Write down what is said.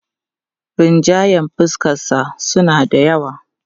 Rinjayen fuskarsa suna da yawa.